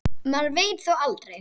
Maður veit þó aldrei.